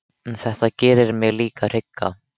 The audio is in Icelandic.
En þetta gerir mig líka hrygga.